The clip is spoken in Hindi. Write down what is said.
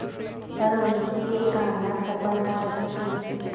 पर उनकी यह कामना सफल न हो सकी